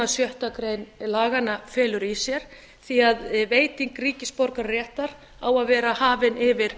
sem sjötti laganna felur í sér því veiting ríkisborgararéttar á að vera hafin yfir